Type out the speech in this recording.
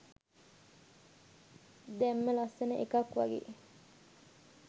දැම්ම.ලස්සන එකක් වගේ.